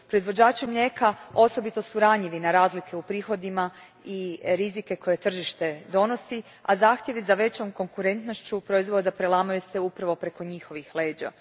Proizvođači mlijeka osobito su ranjivi na razlike u prihodima i rizike koje tržište donosi, a zahtjevi za većom konkurentnošću proizvoda prelamaju se upravo preko njihovih leđa.